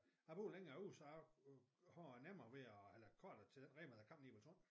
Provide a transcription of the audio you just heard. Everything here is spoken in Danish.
Jeg bor længere ud så jeg har nemmere ved at eller kortere til den Rema der kommer lige ved torv